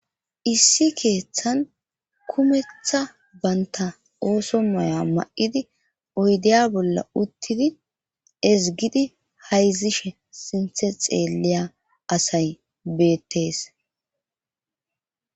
issi keeththan kumetha banta ooso maya mayidi oydiya bolla uttidi ezgidi hayzishe sinthe xeelliya asay beettees